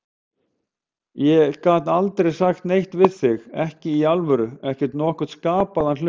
Ég gat aldrei sagt neitt við þig, ekki í alvöru, ekki nokkurn skapaðan hlut.